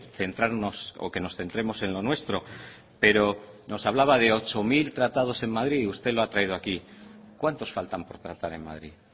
centrarnos o que nos centremos en lo nuestro pero nos hablaba de ocho mil tratados en madrid y usted lo ha traído aquí cuántos faltan por tratar en madrid